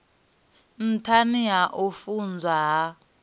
nṱhani ha u funwa ha